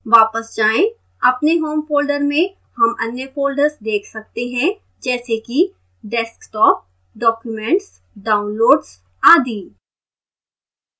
वापस जाएं